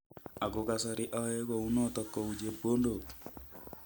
"Ako kasarii ayae kou noton kou chepkoondook